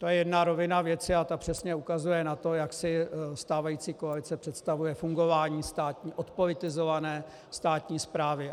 To je jedna rovina věci a ta přesně ukazuje na to, jak si stávající koalice představuje fungování odpolitizované státní správy.